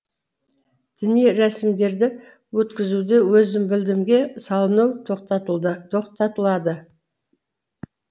діни рәсімдерді өткізуде өзімбілдімге салыну тоқтатылады